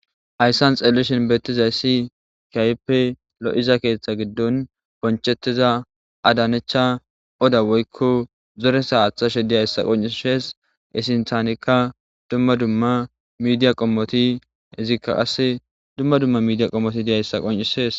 Haysan xelishn betizays keehippe lo'iza keththa giddon bonchetida adanecha ada woyko melekite athashe dizaysa qoncises, iz sinthanka dumma dumma media qomot etika qase dumma dumma media qomot dizaysa qoncises.